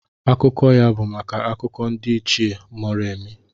Akụkọ ya bụ maka Akụkọ ndị Ichie Moremi.